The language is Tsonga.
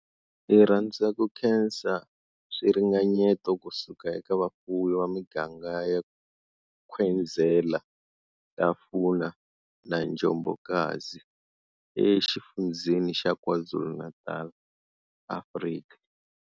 Hi rhandza ku khensa swiringanyeto ku suka eka vafuwi va miganga ya Nkwezela, Hlafuna na Njobokazi eXifundzheni xa KwaZulu-Natal, Afrika.